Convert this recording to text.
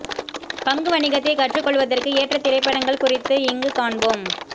பங்கு வணிகத்தைக் கற்றுக் கொள்வதற்கு ஏற்றத் திரைப்படங்கள் குறித்து இங்குக் காண்போம்